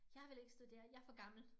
Jeg vil ikke studere jeg for gammel